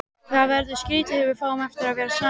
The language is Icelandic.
Það verður skrýtið þegar við fáum aftur að vera saman.